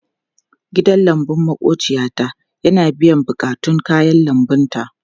Gidan lambun maƙwabciyata yana biyan buƙatun kayan lambunta.